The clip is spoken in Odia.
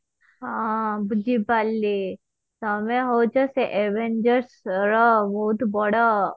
ହଁ ବୁଝିପାରିଲି ତମେ ହଉଛ ସେ avengers ର ବହୁତ ବଡ